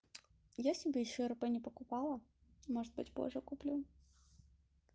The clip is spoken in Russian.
я себе ещё рп не покупала может быть позже куплю